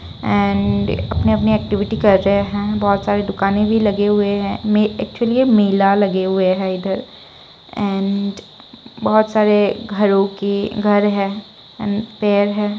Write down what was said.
And अपनी अपनी activity कर रहे है बहुत सारे दुकाने भी लगी हुए है में एक्चुअली यह मेला लगे हुए है इधर एंड बहुत सारे घरो के घर है एंड पेड़ है।